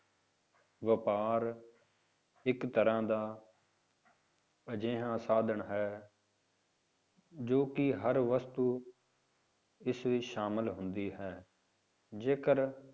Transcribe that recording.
ਵਾਪਾਰ ਇੱਕ ਤਰ੍ਹਾਂ ਦਾ ਅਜਿਹਾ ਸਾਧਨ ਹੈ ਜੋ ਕਿ ਹਰ ਵਸਤੂ ਇਸ ਵਿੱਚ ਸ਼ਾਮਿਲ ਹੁੰਦੀ ਹੈ, ਜੇਕਰ